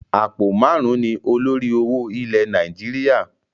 Àpò máarun ni olórí owó ilẹ̀ Nàìjíríà.